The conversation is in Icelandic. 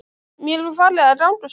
Mér var farið að ganga svo vel.